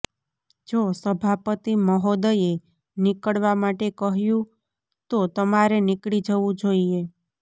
જો સભાપતિ મહોદયે નીકળવા માટે કહ્યું તો તમારે નીકળી જવું જોઇએ